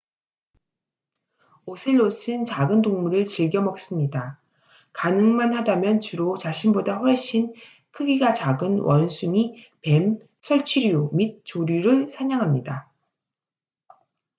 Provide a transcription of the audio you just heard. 오셀롯은 작은 동물을 즐겨 먹습니다 가능만 하다면 주로 자신보다 훨씬 크기가 작은 원숭이 뱀 설치류 및 조류를 사냥합니다